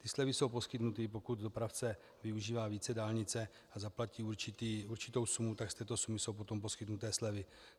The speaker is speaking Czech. Ty slevy jsou poskytnuty, pokud dopravce využívá více dálnice a zaplatí určitou sumu, tak z této sumy jsou potom poskytnuty slevy.